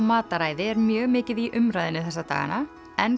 mataræði er mjög mikið í umræðunni þessa dagana en